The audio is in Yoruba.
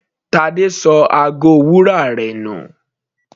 Tade ṣọ ago wúrà rẹ̀ nù.